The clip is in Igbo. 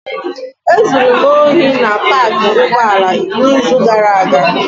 Ezuru m ohi na paakị ụgbọala n'izu gara aga.